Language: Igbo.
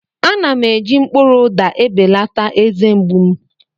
Ana m eji mkpụrụ ụda ebelata eze mgbu m.